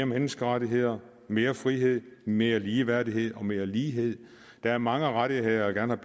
menneskerettigheder mere frihed mere ligeværdighed og mere lighed der er mange rettigheder jeg gerne